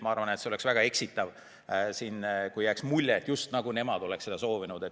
Ma arvan, et oleks väga eksitav, kui siin jääks mulje, et just nemad on seda soovinud.